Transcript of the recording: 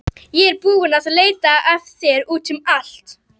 Ég er búin að leita að þér út um allt!